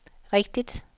rigtigt